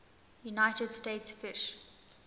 united states fish